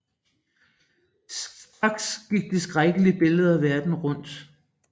Straks gik de skrækkelige billeder verden rundt